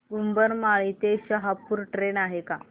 उंबरमाळी ते शहापूर ट्रेन आहे का